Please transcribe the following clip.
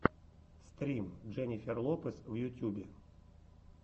стрим дженнифер лопес в ютюбе